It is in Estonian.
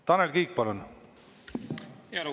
Tanel Kiik, palun!